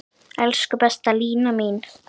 Elsku besta Lína mín.